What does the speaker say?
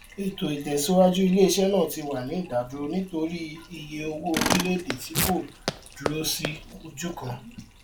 ètò ìtẹsíwájú iléiṣẹ náà ti wà ní ìdádúró nítorí iye owó orílẹèdè tí kò dúró sí ojú kan